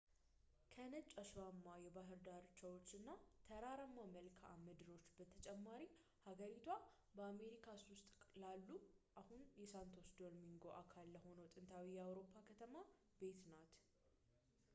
ከነጭ አሸዋማ የባህር ዳርቻዎች እና ተራራማ መልከዓ ምድሮች በተጨማሪ ሀገሪቷ በአሜሪካስ ውስጥ ላለው አሁን የሳንቶ ዶሚንጎ አካል ለሆነው ጥንታዊ የአውሮፓ ከተማ ቤት ናት